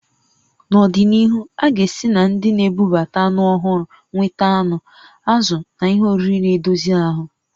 Nọdịnihu, a ga-esi na ndị na-ebubata anụ ọhụrụ nweta anụ, azụ̀ na ihe oriri na-edozi ahụ